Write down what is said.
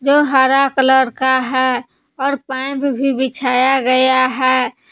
जो हरा कलर का है और पैंप भी बिछाया गया है।